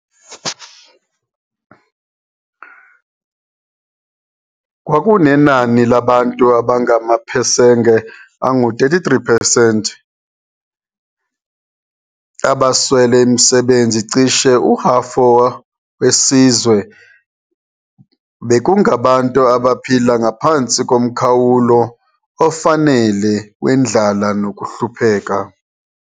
Kwakunenani labantu abangamaphesenge angu-33 percent abaswele imisebenzi, cishe uhafo wesizwe bekungabantu abaphila ngaphansi komkhawulo ofanele wendlala nokuhlupheka.